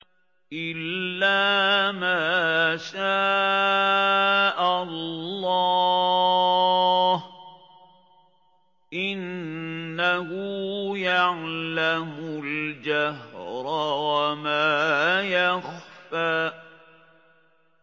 إِلَّا مَا شَاءَ اللَّهُ ۚ إِنَّهُ يَعْلَمُ الْجَهْرَ وَمَا يَخْفَىٰ